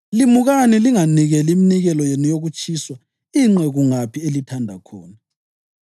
Limukani linganikeleli iminikelo yenu yokutshiswa ingqe kungaphi elithanda khona.